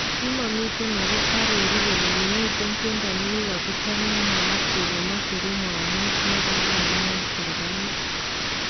Kimamiten ako arooruu kole kimiiten tyendo nekikichop nemwaat kele macheruu mwawuut nekararan en serikaliit